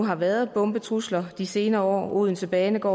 har været bombetrusler mange de senere år odense banegård